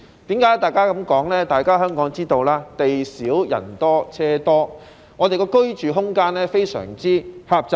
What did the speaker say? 大家也知道，香港地少但人多車多，居住空間非常狹窄。